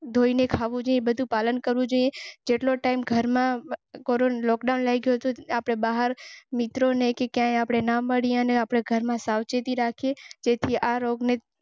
આપણા પ્રધાનમંત્રી માનનીય પ્રધાનમંત્રી નરેન્દ્ર મોદી જેવી સલાહ આપી હતી કે આપ ઘર માં રે કાજી રાખી જે કોઈ ભી. અને આજે આપણા પ્રધાનમંત્રી.